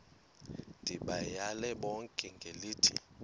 ndibayale bonke ngelithi